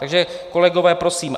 Takže kolegové, prosím.